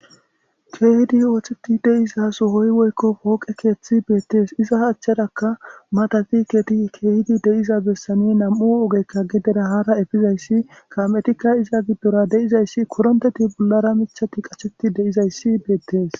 Keehidi ootheti deiza so hoyi woykko pooqe keeththi beettees iza haachchadakka matafiketi keehidi deiza bessani nam'u ogekka gedera haara efizayssi kametikka iza giddora deizayssi koronteti bollara michati qacheti deizayssi beettees.